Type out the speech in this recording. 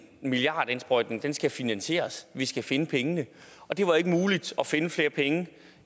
milliardindsprøjtning skal finansieres vi skulle finde pengene og det var ikke muligt at finde flere penge